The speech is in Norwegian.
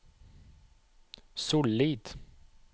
Sollid